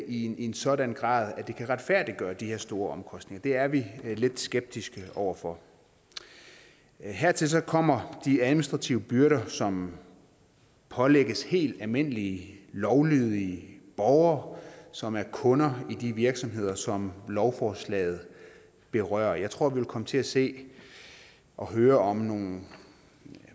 i en sådan grad at det kan retfærdiggøre de her store omkostninger det er vi lidt skeptiske over for hertil kommer de administrative byrder som pålægges helt almindelige lovlydige borgere som er kunder i de virksomheder som lovforslaget berører jeg tror vi vil komme til at se og høre om nogle